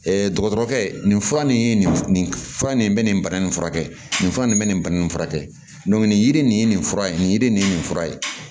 dɔgɔtɔrɔkɛ nin fura nin ye nin nin fura nin bɛ nin bana nin furakɛ nin fura in bɛ nin bana in furakɛ nin yiri nin ye nin fura ye nin yiri nin ye nin fura ye